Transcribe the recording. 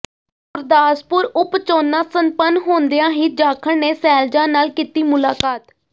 ਗੁਰਦਾਸਪੁਰ ਉਪ ਚੋਣਾਂ ਸੰਪੰਨ ਹੁੰਦਿਆਂ ਹੀ ਜਾਖੜ ਨੇ ਸ਼ੈਲਜਾ ਨਾਲ ਕੀਤੀ ਮੁਲਾਕਾਤ